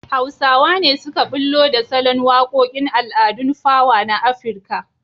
Hausawa ne suka ɓullo da salon waƙoƙn al'adun fawa na Afirka.